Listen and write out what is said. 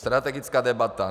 Strategická debata.